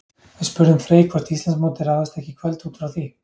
Við spurðum Frey hvort Íslandsmótið ráðist ekki í kvöld útfrá því?